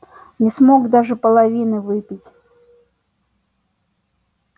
не смог даже половины выпить